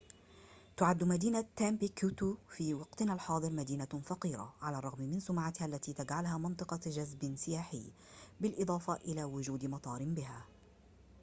تُعد مدينة تمبكتو في وقتنا الحاضر مدينة فقيرة على الرغم من سمعتها التي تجعلها منطقة جذب سياحي بالإضافة إلى وجود مطار بها